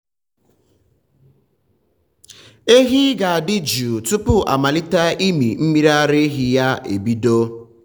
ehi ga-adị jụụ tupu amalite ịmị mmiri ara ya ya ebido.